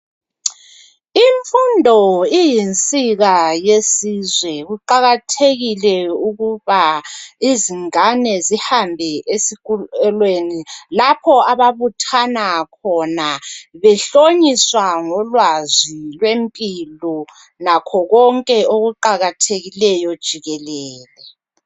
Imfundo iyinsika yesizwe kuqakathekile ukuba izingane zihambe esikolweni lapho ababuthana khona behlonyiswa ngolwazi lwempilo lakho konke okuqakathekileyo jikelele